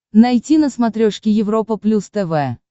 найти на смотрешке европа плюс тв